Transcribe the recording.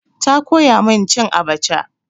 Ta koya min cin abaca.